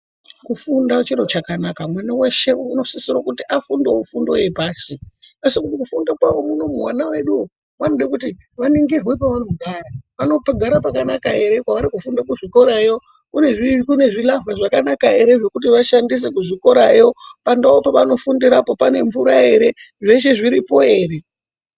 Kufunda chiro chakanaka mwana veshe anosisira kuti afundevo fundo yepashi. Asi mukufunda kwavo vana veduvo vanoda kuti vaningirwe pavanogara vanogara pakanaka ere, kwavari kufunda kuzvikorayo kune zvilavha zvakanaka ere, zvekuti vashandise kuzvikorayo pandau pavanofundirapo pane mvura ere, zveshe zviripo ere.